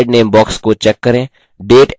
slide name box को check करें